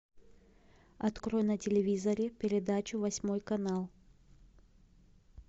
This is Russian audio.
открой на телевизоре передачу восьмой канал